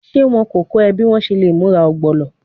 Ṣe wọn ko kọ ọ bi o ṣe le mura ogbono?